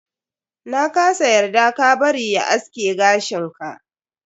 Na kasa yarda ka bari ya aske gashin ka.